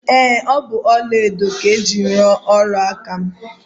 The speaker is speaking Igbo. Ee, ọ bụ ọla edo ka e jiri ruo ọla aka m